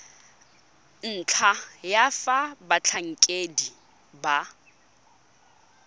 ntlha ya fa batlhankedi ba